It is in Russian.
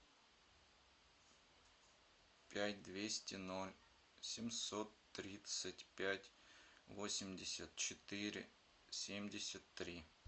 пять двести ноль семьсот тридцать пять восемьдесят четыре семьдесят три